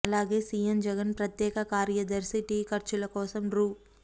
అలాగే సీఎం జగన్ ప్రత్యేక కార్యదర్శి టీ ఖర్చుల కోసం రూ